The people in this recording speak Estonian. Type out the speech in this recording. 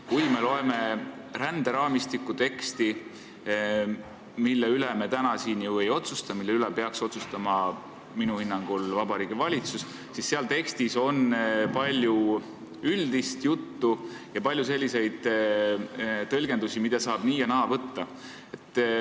Kui me loeme ränderaamistiku teksti, mille üle me täna siin ju ei otsusta, mille üle peaks minu hinnangul otsustama Vabariigi Valitsus, siis näeme seal tekstis palju üldist juttu ja palju tõlgendusvõimalusi, seda saab võtta nii ja naa.